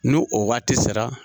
Ni o waati sera.